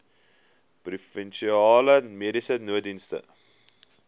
provinsiale mediese nooddienste